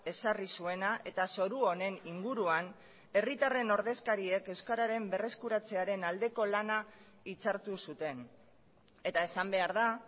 ezarri zuena eta zoru honen inguruan herritarren ordezkariek euskararen berreskuratzearen aldeko lana hitzartu zuten eta esan behar da